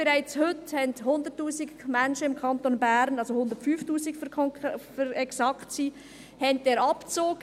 Bereits heute haben 100 000 Menschen im Kanton Bern – um genau zu sein, sind es 105 000 Menschen – diesen Abzug.